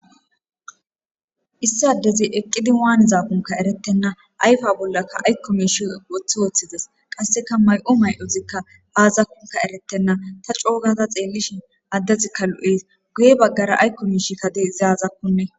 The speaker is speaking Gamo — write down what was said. issi addezi eqqidi waanizakunka erettenna ayfa bollaka aykko miishi wothi ooththides qasseka may7o may7ozikka aazakkunka eretenna ta coogata xeellishin addezikka lu7ees guye baggara aykko miishi kadezaazakkunne